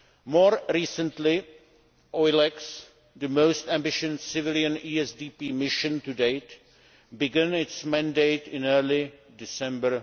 More recently, EULEX, the most ambitious civilian ESDP mission to date, began its mandate in early December